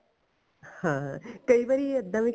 ਹਾਂ ਕਈ ਵਾਰੀ ਇੱਦਾਂ ਵੀ